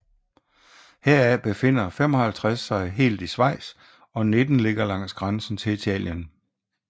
Heraf befinder 55 sig helt i Schweiz og 19 ligger langs grænsen til Italien